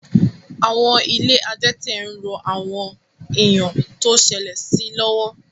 Àwọn ilé adẹ́tẹ̀ ń ran àwọn ènìyàn tó ṣẹlẹ̀ sí lọ́wọ́